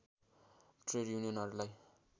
trade युनियनहरूलाई